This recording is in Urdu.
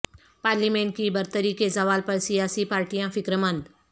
پارلیمنٹ کی برتری کے زوال پر سیاسی پارٹیاں فکرمند